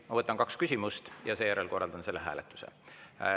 Ma võtan kaks küsimust ja seejärel korraldan selle hääletuse.